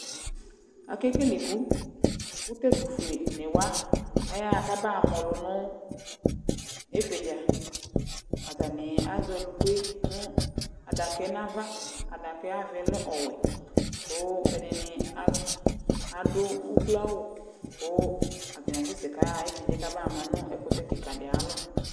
Ake kele iku Ku tu ɛtufueni wa aya ɣa kaba mã ɔlù nu ifiɖza Atani azɛ ɔluku yɛ nu adaka yɛ nu ãvã Adaka yɛ ayu ãvã yɛ lɛ ɔwɛ Ku ɛɖini aluɛ, aɖu ukloawu Ku atani asɛ sɛ, ku ayaɣa ifiɖza yɛ ka ba ɣa mã nu ɛkutɛ kikã ɖi ayu alɔ